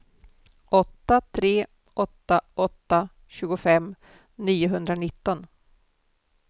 åtta tre åtta åtta tjugofem niohundranitton